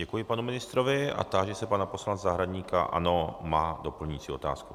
Děkuji panu ministrovi a táži se pana poslance Zahradníka - ano, má doplňující otázku.